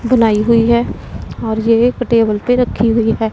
बनाई हुई है और ये एक टेबल पे रखी हुई है।